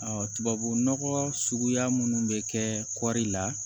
tubabunɔgɔ suguya minnu bɛ kɛ kɔri la